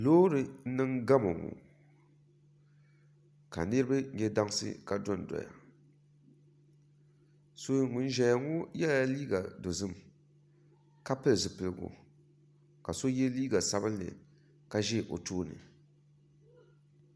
Loori n niŋ gamo ka niraba nyɛ dansi ka dondoya ŋun ʒɛya ŋɔ yɛla liiga dozim ka pili zipiligu ka so yɛ liiga sabinli ka ʒi o tooni